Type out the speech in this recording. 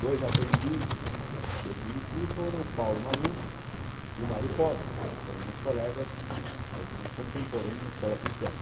Dois aprendizes que eu conheci foram o Paulo Maluf e o Mário Covas, que foram meus colegas, foram meus contemporâneos na Escola Politécnica.